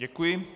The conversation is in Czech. Děkuji.